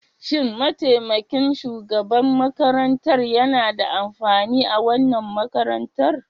Shin mataimakin shugaban makarantar yana da amfani a wannan makarantar.